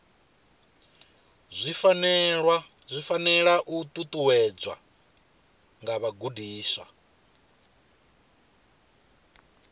zwi fanela u ṱuṱuwedza vhagudiswa